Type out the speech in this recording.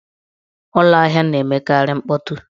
Ụlọahịa na-emekarị mkpọtụ.